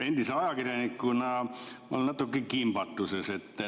Endise ajakirjanikuna ma olen natuke kimbatuses.